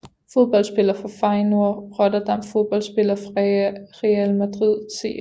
Fodboldspillere fra Feyenoord Rotterdam Fodboldspillere fra Real Madrid CF